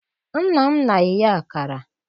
Nna m na-eye akara.